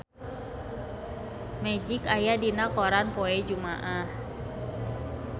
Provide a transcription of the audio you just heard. Magic aya dina koran poe Jumaah